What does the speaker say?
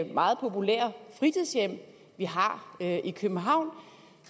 meget populære fritidshjem vi har i københavn